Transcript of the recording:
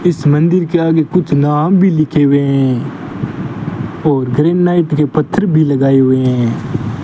इस मंदिर के आगे कुछ नाम भी लिखे हुए हैं और ग्रेनाइट के पत्थर भी लगाए हुए हैं।